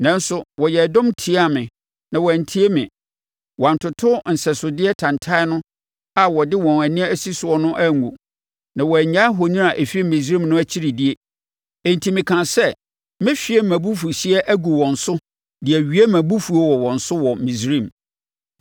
“ ‘Nanso wɔyɛɛ dɔm tiaa me na wɔantie me; Wɔantoto nsɛsodeɛ tantan no a wɔde wɔn ani asi soɔ no angu, na wɔannyae ahoni a ɛfiri Misraim no akyiri die. Enti mekaa sɛ mɛhwie mʼabufuhyeɛ agu wɔn so de awie mʼabufuo wɔ wɔn so wɔ Misraim.